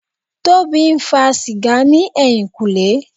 Tobi ń fa sìgá ní ẹ̀yìnkùlé.